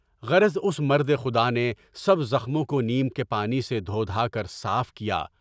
غرض اُس مردِ خدا نے سب زخموں کو نیم کے پانی سے دھو دھا کر صاف کیا۔